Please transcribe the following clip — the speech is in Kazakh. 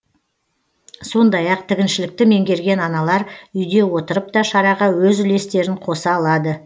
сондай ақ тігіншілікті меңгерген аналар үйде отырып та шараға өз үлестерін қоса алады